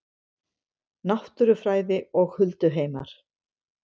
Náttúrufræði og hulduheimar